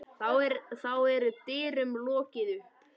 Þá er dyrum lokið upp.